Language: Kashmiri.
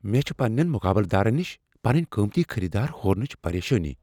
مےٚ چھ پننین مقابلہٕ دارن نش پنٕنۍ قٲمتی خٔریٖدار ہورنچہِ پریشٲننی ۔